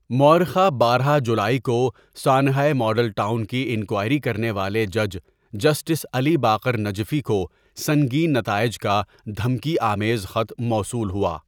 مورخہ بارہ جولائی کو سانحۂ ماڈل ٹاؤن کی انکوائری کرنے والے جج جسٹس علی باقر نجفی کو سنگین نتائج کا دھمکی آمیز خط موصول ہوا.